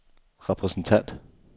repræsentant